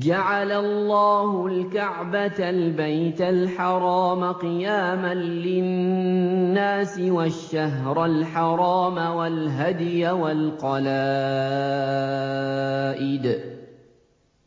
۞ جَعَلَ اللَّهُ الْكَعْبَةَ الْبَيْتَ الْحَرَامَ قِيَامًا لِّلنَّاسِ وَالشَّهْرَ الْحَرَامَ وَالْهَدْيَ وَالْقَلَائِدَ ۚ